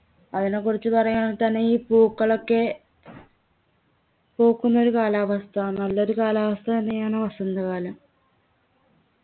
അതിനെ കുറിച്ച് പറയാണെങ്കിൽ തന്നെ ഈ പൂക്കളൊക്കെ പൂക്കുന്നൊരു കാലാവസ്ഥ നല്ലൊരു കാലം തന്നെയാണ് വസന്ത കാലം